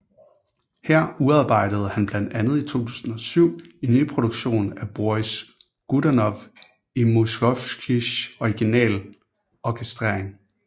Her udarbejdede han blant andet i 2007 en nyproduktion af Boris Godunov i Mussorgskijs originalorkestrering